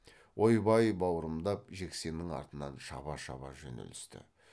ойбай бауырымдап жексеннің артынан шаба шаба жөнелісті